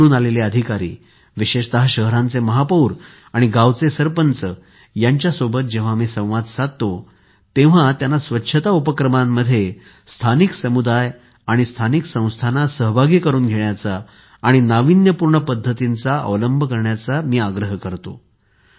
निवडून आलेले अधिकारी विशेषतः शहरांचे महापौर आणि गावचे सरपंच यांच्यासोबत जेव्हा मी संवाद साधतो तेव्हा त्यांना स्वच्छता उपक्रमांमध्ये स्थानिक समुदाय आणि स्थानिक संस्थांना सहभागी करून घेण्याचा आणि नाविन्यपूर्ण पद्धतींचा अवलंब करण्याचा आग्रह करतो